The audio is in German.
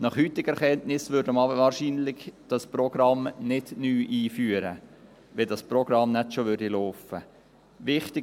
Nach heutiger Erkenntnis würde man dieses Programm wahrscheinlich nicht neu einführen, wenn dieses Programm nicht bereits laufen würde.